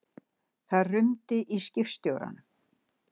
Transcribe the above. Það rumdi í skipstjóranum.